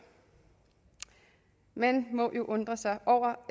man må jo undre sig over